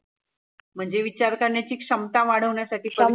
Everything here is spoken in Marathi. म्हणजे विचार करण्याची क्षमता वाढवण्यासाठी